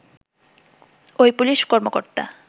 ওই পুলিশ কর্মকর্তা